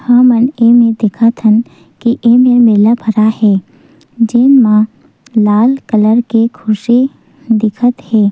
हमन एमेर देखत हन की ए मेर मेला भराए हे जेन म लाल कलर के खुर्सी दिखत हे।